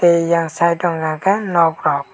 tei eyang site o hingka kei nog rog.